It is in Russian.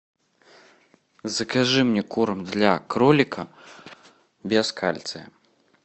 закажи мне корм для кролика без кальция